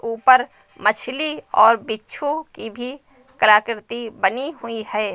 ऊपर मछली और बिच्छू की भी कला कृति बनी हुई है।